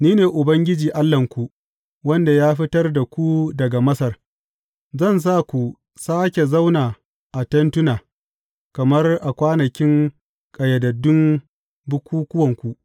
Ni ne Ubangiji Allahnku, wanda ya fitar da ku daga Masar; zan sa ku sāke zauna a tentuna, kamar a kwanakin ƙayyadaddun bukukkuwanku.